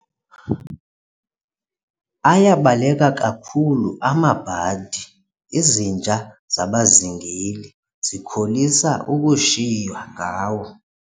Ayabaleka kakhulu amabhadi, izinja zabazingeli zikholisa ukushiywa ngawo.